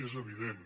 és evident